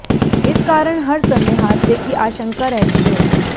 इस कारण हर समय हादसे की आशंका रहती है